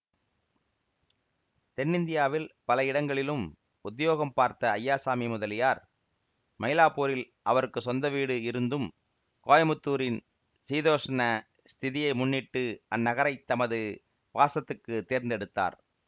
தென்னிந்தியாவில் பல இடங்களிலும் உத்தியோகம் பார்த்த அய்யாசாமி முதலியார் மயிலாப்பூரில் அவருக்கு சொந்த வீடு இருந்தும் கோயமுத்தூரின் சீதோஷ்ண ஸ்திதியை முன்னிட்டு அந்நகரைத் தமது வாசத்துக்குத் தேர்ந்தெடுத்தார்